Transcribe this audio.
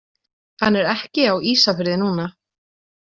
Hann er ekki á Ísafirði núna.